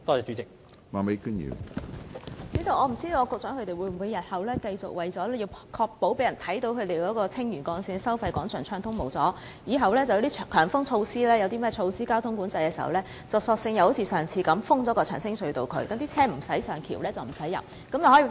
主席，我不知道局長會否為了繼續讓人看到收費廣場一帶交通暢通無阻，以後每逢實施強風交通管制等措施，便索性像上次那樣封閉長青隧道，不准車輛上橋和進入隧道。